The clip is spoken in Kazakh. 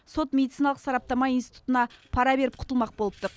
сот медициналық сараптама институтына пара беріп құтылмақ болыпты